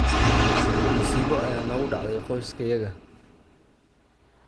Masiibo ayaa nagu dhacday qoyskayaga.